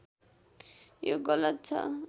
यो गलत छ